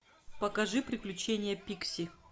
покажи приключения пикси